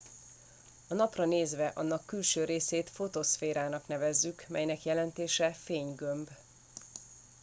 a napra nézve annak külső részét fotoszférának nevezzük amelynek jelentése fénygömb